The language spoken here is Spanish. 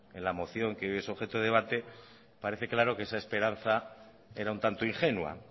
en la moción que hoy es objeto de debate parece claro que esa esperanza era un tanto ingenua